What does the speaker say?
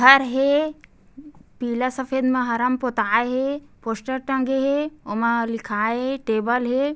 घर हे पीला सफ़ेदमा हरा मा पोताय हे पोस्टर टंगे हे वो मा लिखाये हे टेबल हे।